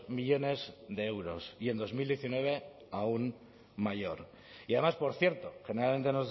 millónes de euros y en dos mil diecinueve aún mayor y además por cierto generalmente